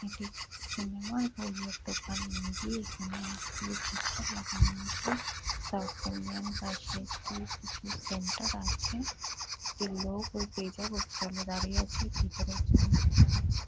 এটি সিনেমা -র বইয়ের দোকান মে বি এখানে অনেকগুলি পোস্টার লাগানো আছে। সাউথ ইন্ডিয়ান পাশে একটি কিছু সেন্টার আছে। একটি লোক ওই তেজা বুক স্টল এ দাঁড়িয়ে আছে। ভিতরে একজন মহিলা আছে।